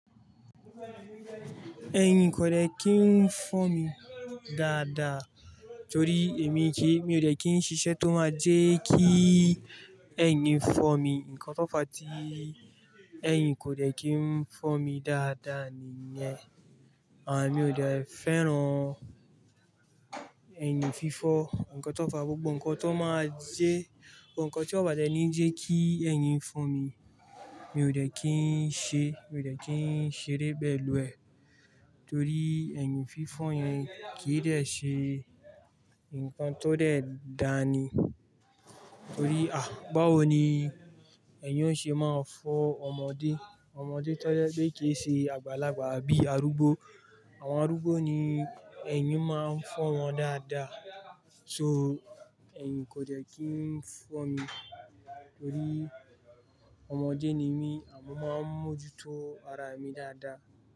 Ẹ̀yin kò dẹ́ kí ń fọ́ mi dáadáa torí èmi kí, emi ò dẹ́ kí ń ṣiṣẹ́ tó máa jẹ́ kí ẹ̀yin fọ́ mi. Nkan tó fàá tí ẹ̀yin kò dẹ́ kí ń fọ́ mi dáadáa niyẹn. Àn mi ò dẹ́ fẹ́ràn ẹ̀yin fífọ́. Ǹkan tó n fàá gbogbo ǹkan tó máa jẹ́, ǹkan tí ó bá dẹ́ ní jẹ́ kí ẹ̀yin fọ́ mi, mi ò dẹ́ kí ń ṣe, mi ò dẹ́ kí ń ṣeeré pẹ́lú ẹ, torí ẹ̀yin fífọ́ yẹn kì í dẹ́ ṣe ǹkan tó dẹ́ dání. Torí à, báwo ni ẹ̀yin ó ṣe máa fọ́ ọmọdé? Ọmọdé tó jẹ́ pé kìí ṣe àgbàlagbà bí arúgbó. Àwọn arúgbó ni ẹ̀yin máa ń fọ́ wọn dáadáa. So ẹ̀yin kò dẹ́ kí ń fọ́ mi torí ọmọdé ni mí, mo máa ń mójútó ara mi dáadáa.